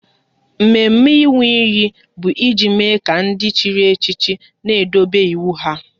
Mme mme ịnwụ iyi bụ e ji mme ka ndị chịrị echichi n'edobe iwu ha